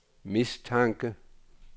mistanke